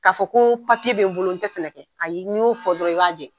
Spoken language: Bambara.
K'a fɔ ko papiye bɛ bolo n tɛ sɛnɛ kɛ, ayi n'y'o fɔ dɔrɔn i b'a jɛn.